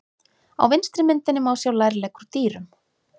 Á vinstri myndinni má sjá lærlegg úr dýrum.